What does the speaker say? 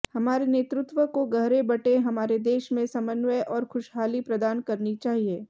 हमारे नेतृत्व को गहरे बंटे हमारे देश में समन्वय और खुशहाली प्रदान करनी चाहिये